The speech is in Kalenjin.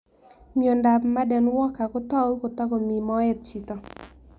Miondop Marden Walker kotau kotoko mii moet chito